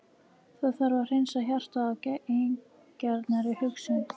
Það þarf að hreinsa hjartað af eigingjarnri hugsun.